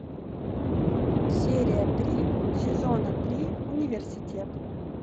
серия три сезона три университет